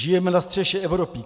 Žijeme na střeše Evropy.